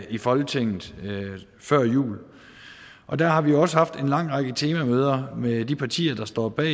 i folketinget før jul og der har vi også haft en lang række temamøder med de partier der står bag